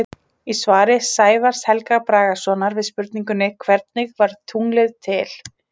Í svari Sævars Helga Bragasonar við spurningunni Hvernig varð tunglið til?